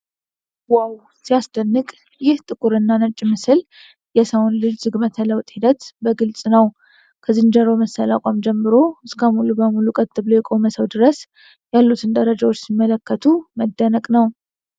"ዋው! ሲያስደንቅ!" ይህ ጥቁር እና ነጭ ምስል የሰውን ልጅ ዝግመተ ለውጥ ሂደት በግልፅ ነው። ከዝንጀሮ መሰል አቋም ጀምሮ እስከ ሙሉ በሙሉ ቀጥ ብሎ የቆመ ሰው ድረስ ያሉትን ደረጃዎች ሲመለከቱ መደነቅ ነው!።